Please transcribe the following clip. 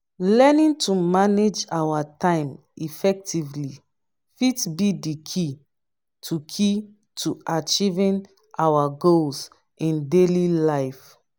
learning to manage our time effectively fit be di key to key to achieving our goals in daily life.